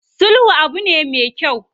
Sulhu abu ne me kyau.